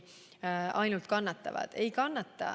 Ei kannata!